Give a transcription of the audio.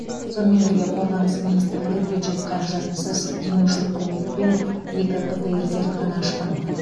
сонымен бірге қорғаныс министрлігі бюджет қаражатынсыз демеушілік көмекпен екі птр зертхана ашқан